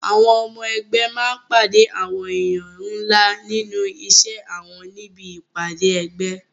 Àwọn ọmọ ẹgbé máa pàdé àwọn èèyàn ńlá nínú iṣẹ́ wọn níbi ìpàdé ẹgbẹ́.